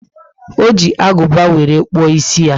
O ji aguba were kpuo ísì ya